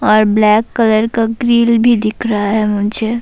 اور black colour کا grill بھی دکھ رہا ہے مجھے-